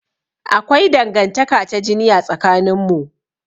Akwai Dangantaka ta jini a tsakanin mu.